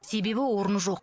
себебі орын жоқ